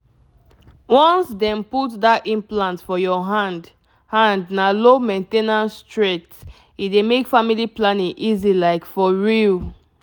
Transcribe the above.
once dem put that implant for your hand hand na low main ten ance straight — e dey make family planning easy like for real!